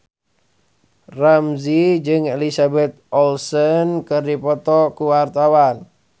Ramzy jeung Elizabeth Olsen keur dipoto ku wartawan